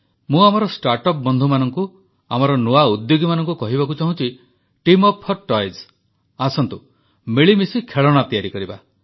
ମୁଁ ଆମର ଷ୍ଟାର୍ଟଅପ୍ ବନ୍ଧୁମାନଙ୍କୁ ଆମର ନୂଆ ଉଦ୍ୟୋଗୀମାନଙ୍କୁ କହିବାକୁ ଚାହୁଁଛି ଟିମ୍ ଅପ୍ ଫର୍ ଟଏଜ୍ ଆସନ୍ତୁ ମିଳିମିଶି ଖେଳଣା ତିଆରି କରିବା